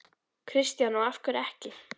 Kristján: Og af hverju ekki?